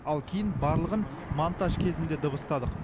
ал кейін барлығын монтаж кезінде дыбыстадық